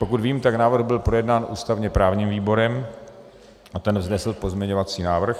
Pokud vím, tak návrh byl projednán ústavně-právním výborem a ten vznesl pozměňovací návrh.